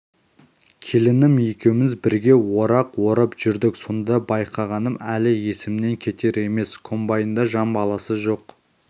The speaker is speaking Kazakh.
келінім екеуміз бірге орақ орып жүрдік сонда байқағаным әлі есімнен кетер емес комбайнда жан баласы жоқ